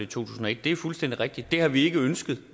tusind og et det er fuldstændig rigtigt det har vi ikke ønsket